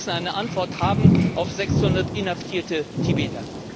Wir müssen eine Antwort haben auf 600 inhaftierte Tibeter!